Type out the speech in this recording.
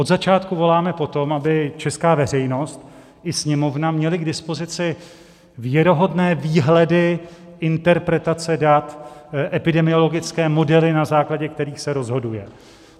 Od začátku voláme po tom, aby česká veřejnost i Sněmovna měly k dispozici věrohodné výhledy, interpretace dat, epidemiologické modely, na základě kterých se rozhoduje.